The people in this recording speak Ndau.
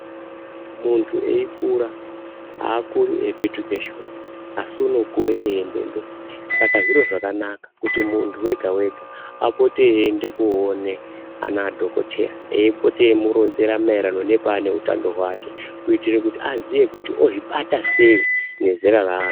Muntu eikura akuri eipetuka shure asi unokura eienda mberi saka zviro zvakanaka kuti muntu wegawega apote eienda koone ana dhokoteya eipote eimuronzera maererano neutao hwake kuitire kuti aziye kuti ozvibata sei nezera raari.